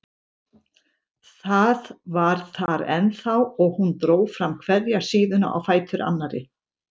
Það var þar ennþá og hún dró fram hverja síðuna á fætur annarri.